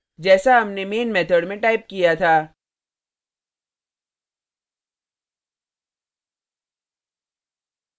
जैसा हमने main method में टाइप किया था